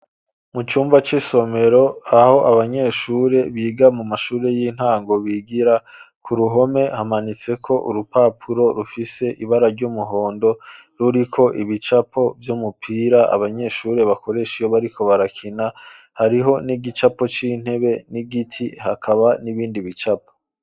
Mu cumba c'isomero aho abanyeshure biga mu mashuri y'intango bigira, ku ruhome hamanitseko urupapuro rufise ibara ry'umuhondo ruriko ibicapo vy'umupira abanyeshuri bakoresha iyo bariko barakina, hariho n'igicapo c'intebe n'igiti, hakaba n'ibindi bicapo.